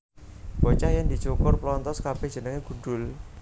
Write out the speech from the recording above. Bocah yèn dicukur plonthos kabèh jenengé gundhul